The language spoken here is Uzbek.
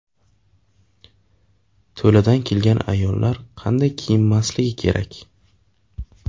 To‘ladan kelgan ayollar qanday kiyinmasligi kerak?